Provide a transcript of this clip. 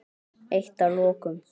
Eitt að lokum.